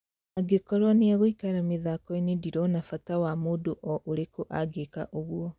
Angĩkorwo nĩegũikara mĩthakoini ndĩrona bata wa mũndũ o ũrĩkũ angĩka ũguo